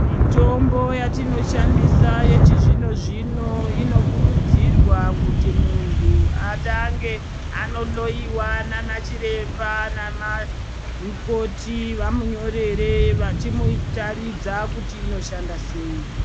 Mitombo yatinoshandisa yechizvino-zvino ,inokurudzirwa kuti muntu, atange anohloiwa naana chiremba namamukoti vamunyorere, vachimuratidza kuti inoshanda sei.